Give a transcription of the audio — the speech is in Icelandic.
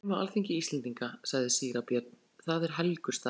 Við erum á alþingi Íslendinga, sagði síra Björn,-það er helgur staður.